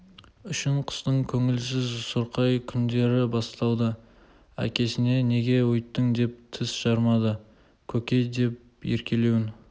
үшін қыстың көңілсіз сұрқай күндері басталды әкесіне неге өйттің деп тіс жармады көке деп еркелеуін